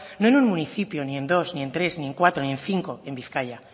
no en un municipio ni en dos ni en tres ni en cuatro ni en cinco en bizkaia